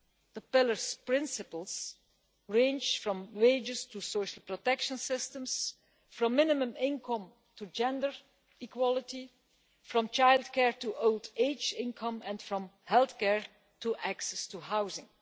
The Pillar's principles range from wages to social protection systems, from minimum income to gender equality, from childcare to old age income, and from health care to access to housing.